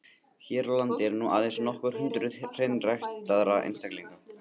Hér á landi eru nú aðeins nokkur hundruð hreinræktaðra einstaklinga.